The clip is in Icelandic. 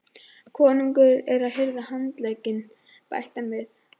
Konungur er að hirða handlegginn, bætti hann við.